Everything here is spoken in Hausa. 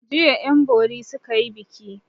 Jiya 'yanbori suka yi biki.